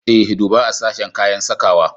E, duba a sashen kayan sakawa.